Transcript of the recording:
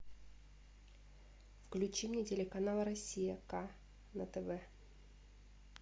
включи мне телеканал россия к на тв